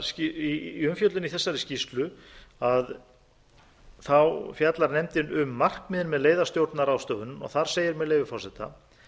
suðvesturland í umfjöllun í þessari skýrslu fjallar nefndin um markmið með leiðastjórnunarráðstöfunum og þar segir með leyfi forseta